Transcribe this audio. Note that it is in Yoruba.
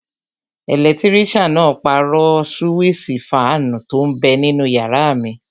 Ẹlẹtírísàn náà pàrọ̀ súwísì fáànù tó n bẹ ninú yàrá mi